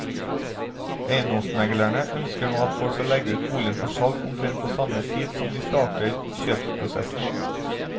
Eiendomsmeglerne ønsker nå at folk skal legge ut boligen for salg omtrent på samme tid som de starter kjøpsprosessen.